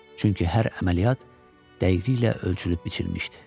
Çünki hər əməliyyat dəqiqliklə ölçülüb biçilmişdi.